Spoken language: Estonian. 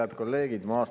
Head kolleegid!